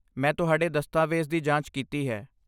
ਮੈਂ ਤੁਹਾਡੇ ਦਸਤਾਵੇਜ਼ ਦੀ ਜਾਂਚ ਕੀਤੀ ਹੈ।